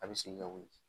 A bɛ segin ka wuli